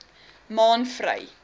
maanvry